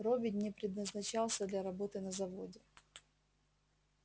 робби не предназначался для работы на заводе